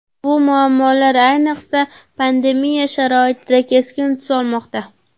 Bu muammolar ayniqsa pandemiya sharoitida keskin tus olmoqda.